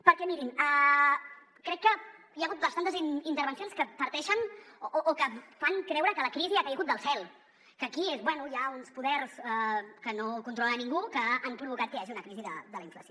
perquè mirin crec que hi ha hagut bastantes intervencions que parteixen o que fan creure que la crisi ha caigut del cel que aquí bé hi ha uns poders que no controla ningú que han provocat que hi hagi una crisi de la inflació